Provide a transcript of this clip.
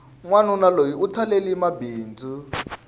wanuna loyi u talelehi mabindzu